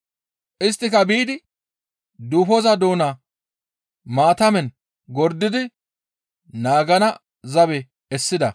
Isttika biidi duufoza doona maatamen gordidi naagana zabe essida.